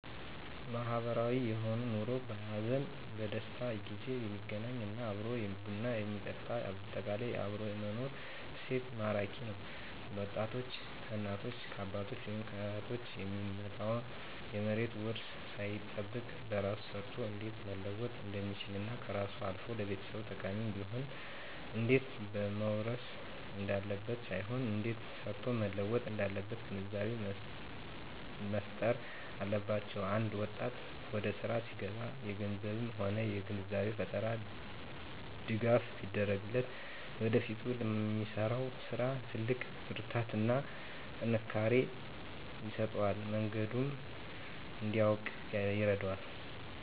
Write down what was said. ማህበራዊ የሆነ ኑሮ በሀዘንም በደስታም ጊዜ የሚገናኝ እና አብሮ ቡና የሚጠጣ በአጠቃላይ አብሮ የመኖር እሴት ማራኪ ነዉ ወጣቶች ከእናት ከአባት ወይም ከአያት የሚመጣ የመሬት ዉርስን ሳይጠብቅ በራሱ ሰርቶ እንዴት መለወጥ እንደሚችልና ከራሱም አልፎ ለቤተሰብ ጠቃሚ እንዲሆን እንዴት መዉረስ እንዳለበት ሳይሆን እንዴት ሰርቶ መለወጥ እንዳለበት ግንዛቤ መፋጠር አለባቸዉ አንድ ወጣት ወደስራ ሲገባ በገንዘብም ሆነ የግንዛቤ ፈጠራ ድጋፍ ቢደረግለት ለወደፊቱ ለሚሰራዉ ስራ ትልቅ ብርታትና ጥንካሬ ይሆነዋል መንገዱንም እንዲያዉቅ ይረዳዋል